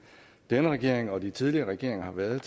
denne regering og de tidligere regeringer har været